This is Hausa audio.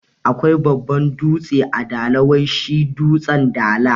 Akwai babban dutse a dala wai shi dutsen dala